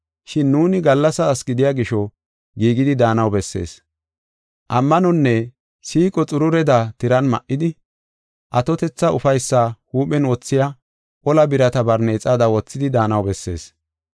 Shin nuuni gallasa asi gidiya gisho giigidi daanaw bessees. Ammanonne siiqo xurureda tiran ma7idi, atotetha ufaysaa huuphen wothiya ola birata barneexada wothidi daanaw bessees.